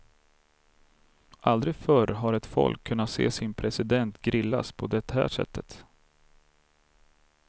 Aldrig förr har ett folk kunnat se sin president grillas på det här sättet.